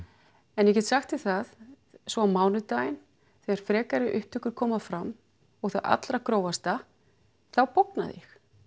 en ég get sagt þér það svo á mánudaginn þegar frekari upptökur koma fram og það allra grófasta þá bognaði